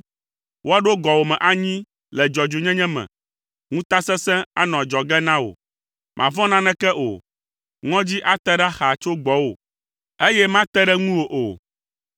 Woaɖo gɔwòme anyi le dzɔdzɔenyenye me. Ŋutasesẽ anɔ adzɔge na wò. Màvɔ̃ na naneke o. Ŋɔdzi ate ɖa xaa tso gbɔwò, eye mate ɖe ŋuwò o.